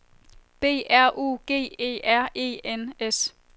B R U G E R E N S